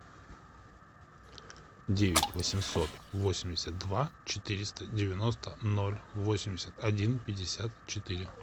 девять восемьсот восемьдесят два четыреста девяносто ноль восемьдесят один пятьдесят четыре